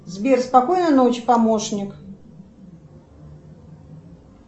сбер спокойной ночи помощник